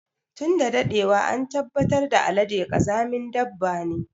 Tun da daɗewa an tabbatar da Alade ƙazamin dabba ne.